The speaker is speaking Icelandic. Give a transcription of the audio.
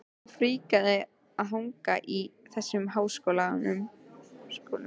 Svo fríkað að hanga í þessum háskólum!